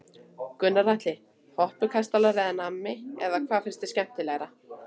Gunnar Atli: Hoppukastalar eða nammi eða hvað finnst þér skemmtilegt?